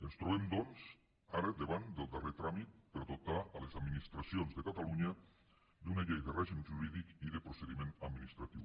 ens trobem doncs ara davant del darrer tràmit per dotar les administracions de catalunya d’una llei de règim jurídic i de procediment administratiu